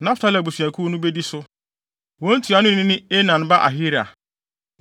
Naftali abusuakuw no bedi so. Wɔn ntuanoni ne Enan ba Ahira.